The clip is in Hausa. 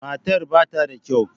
Matar ba ta da kyau.